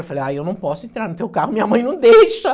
Eu falei, aí eu não posso entrar no teu carro, minha mãe não deixa.